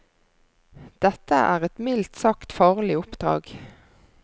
Dette er et mildt sagt farlig oppdrag.